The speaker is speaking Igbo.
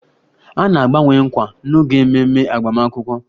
A na-agbanwe nkwa n'oge ememe agbamakwụkwọ